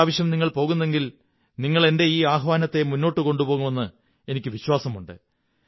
ഇപ്രാവശ്യം നിങ്ങൾ പോകുമെങ്കിൽ നിങ്ങൾ എന്റെ ഈ ആഹ്വാനത്തെ മുന്നോട്ടു കൊണ്ടുപോകുമെന്ന് എനിക്കു വിശ്വാസമുണ്ട്